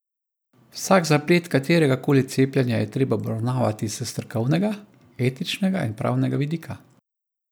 Vsak zaplet katerega koli cepljenja je treba obravnavati s strokovnega, etičnega in pravnega vidika.